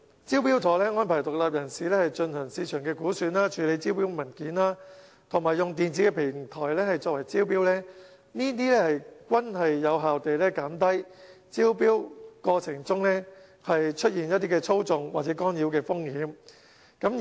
"招標妥"安排獨立人士進行市場估算、處理招標文件、以電子平台招標，這些均有效減低招標過程中出現操縱或干擾的風險。